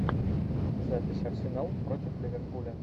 запись арсенал против ливерпуля